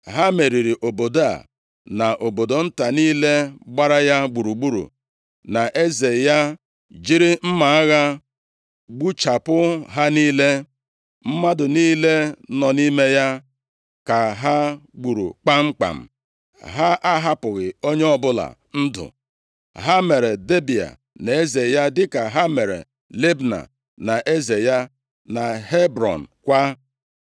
Ha meriri obodo a, na obodo nta niile gbara ya gburugburu, na eze ya, jiri mma agha gbuchapụ ha niile, mmadụ niile nọ nʼime ya ka ha gburu kpamkpam. Ha ahapụghị onye ọbụla ndụ, ha mere Debịa na eze ya dịka ha mere Libna na eze ya, na Hebrọn kwa.